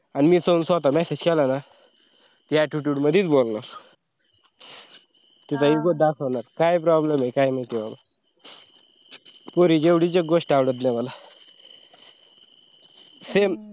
मी स्वता जर message केला न ती attitude मदीच बोलणार तिचा ego दाकवणार काय problem आहे काए माहिती बाबा पोरींची एवढीच एक गोष्ट आवडत नई मला same